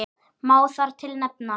Má þar til nefna